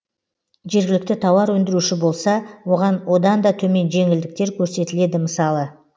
жергілікті тауар өндіруші болса оған одан да төмен жеңілдіктер көрсетіледі мысалы